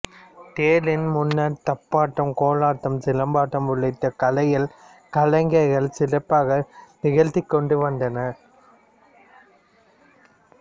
தேரின் முன்னர் தப்பாட்டம் கோலாட்டம் சிலம்பாட்டம் உள்ளிட்ட கலைகளை கலைஞர்கள் சிறப்பாக நிகழ்த்திக்கொண்டு வந்தனர்